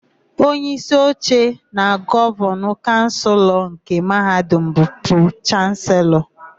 Onyeísí oche na Gọvanịn Kaụnsụlnke Mahadum bụ Pro-Chanselọ.